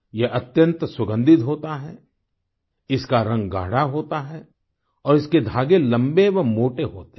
यह अत्यंत सुगन्धित होता है इसका रंग गाढ़ा होता है और इसके धागे लंबे व मोटे होते हैं